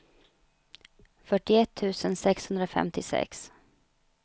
fyrtioett tusen sexhundrafemtiosex